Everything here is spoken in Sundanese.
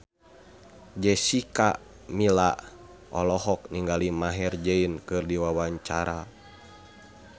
Jessica Milla olohok ningali Maher Zein keur diwawancara